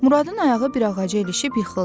Muradın ayağı bir ağaca ilişib yıxıldı.